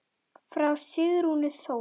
Frá Sigrúnu Þóru.